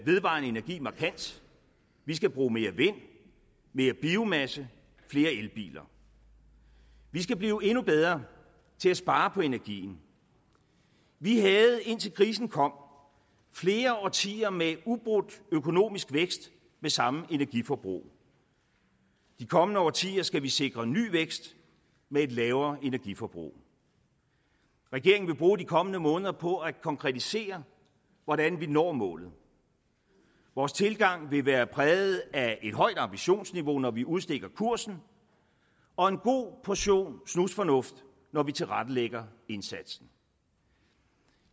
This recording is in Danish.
vedvarende energi markant vi skal bruge mere vind mere biomasse og flere elbiler vi skal blive endnu bedre til at spare på energien vi havde indtil krisen kom flere årtier med ubrudt økonomisk vækst med samme energiforbrug de kommende årtier skal vi sikre ny vækst med et lavere energiforbrug regeringen vil bruge de kommende måneder på at konkretisere hvordan vi når målet vores tilgang vil være præget af et højt ambitionsniveau når vi udstikker kursen og en god portion snusfornuft når vi tilrettelægger indsatsen